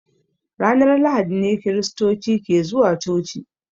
Ranar lahadi ne kiristoci ke zuwa coci.